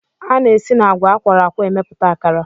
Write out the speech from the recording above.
A na-esi n'agwa a kwọrọ akwọ emepụta akara